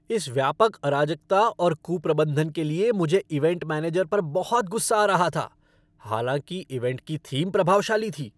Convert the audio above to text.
इस व्यापक अराजकता और कुप्रबंधन के लिए मुझे इवेंट मैनेजर पर बहुत गुस्सा आ रहा था, हालांकि इवेंट का थीम प्रभावशाली था।